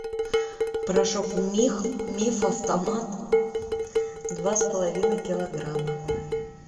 порошок миф автомат два с половиной килограмма